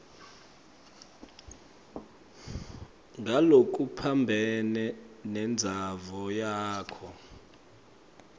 ngalokuphambene nentsandvo yakho